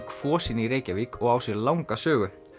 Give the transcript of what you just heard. Kvosinni í Reykjavík og á sér langa sögu